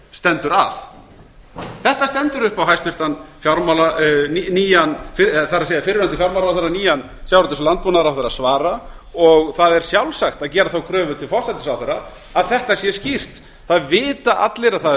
stendur að þetta stendur upp á fyrrverandi fjármálaráðherra og nýjan sjávarútvegs og landbúnaðarráðherra að svara og það er sjálfsagt að gera þá kröfu til forsætisráðherra að þetta sé skýrt það vita allir að það